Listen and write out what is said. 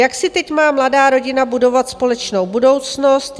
Jak si teď má mladá rodina budovat společnou budoucnost?